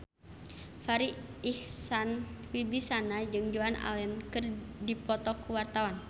Farri Icksan Wibisana jeung Joan Allen keur dipoto ku wartawan